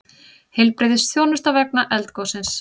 Heilbrigðisþjónusta vegna eldgossins